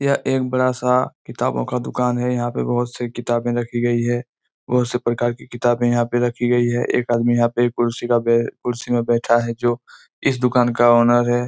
यह एक बड़ा-सा किताबो का दुकान है यहाँ पे बहुत सारी किताबे रखी गई हैं बहुत सी प्रकार कि किताबे यहाँ पे रखी गई है एक आदमी यहाँ पे कुर्सी म बै कुर्सी पे बैठा है जो इस दुकान का ओनर है।